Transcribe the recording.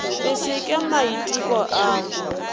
le se ke maiteko ao